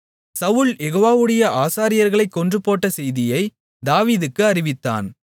சவுல் யெகோவாவுடைய ஆசாரியர்களைக் கொன்றுபோட்ட செய்தியை தாவீதுக்கு அறிவித்தான்